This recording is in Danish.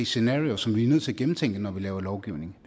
scenario som vi er nødt til at gennemtænke når vi laver lovgivning